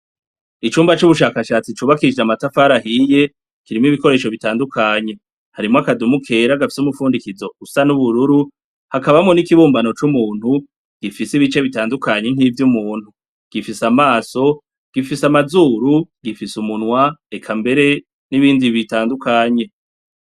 Icumba cubushakashatsi cubakishije amatafari ahiye kirimwo ibikoresho bitandukanye , harimwo akadumu kera, gafise umurundikazo USA nubururu hakabamwo nikibumbano cumuntu gifise bitandukanye nkivy'umuntu, gifise amaso, gifise amazuru, gifise umunwa, mbere nibindi bitandukanye .